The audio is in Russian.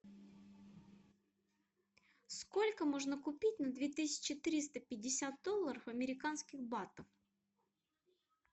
сколько можно купить на две тысячи триста пятьдесят долларов американских батов